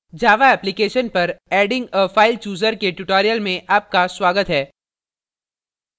जावा application पर adding a file chooser के tutorial में आपका स्वागत है